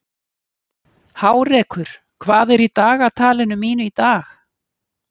Hárekur, hvað er í dagatalinu mínu í dag?